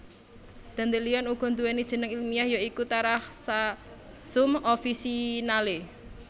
Dandelion uga nduwèni jeneng ilmiah ya iku Taraxacum officinale